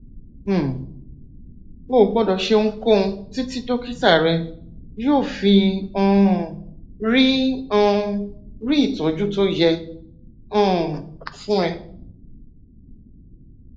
um o ò gbọdọ ṣe ohunkóhun títí dókítà rẹ yóò fi um rí um rí ìtọjú tó yẹ um fún ẹ